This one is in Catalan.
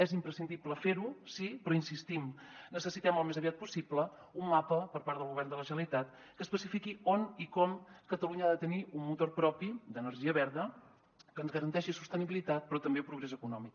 és imprescindible fer ho sí però hi insistim necessitem al més aviat possible un mapa per part del govern de la generalitat que especifiqui on i com catalunya ha de tenir un motor propi d’energia verda que ens garanteixi sostenibilitat però també progrés econòmic